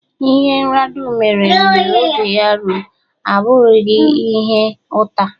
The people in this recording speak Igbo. Ihe rnrnadu mere mgbe oge ya rum abughiiri ihe uta.